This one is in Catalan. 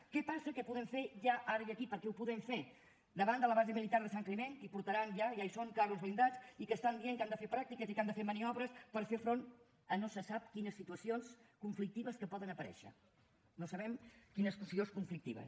què passa què podem fer ja ara i aquí perquè ho podem fer davant de la base militar de sant climent que hi portaran ja hi són carros blindats i que diuen que han de fer pràctiques i que han de fer maniobres per fer front a no sé sap quines situacions conflictives que poden aparèixer no sabem quines situacions conflictives